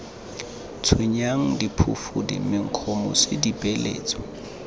tshwenyang diphufudi menkgo mosi dipeeletso